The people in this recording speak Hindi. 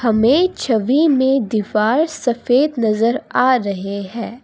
हमें छवि में दीवार सफेद नजर आ रहे हैं।